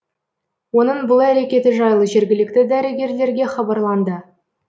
оның бұл әрекеті жайлы жергілікті дәрігерлерге хабарланды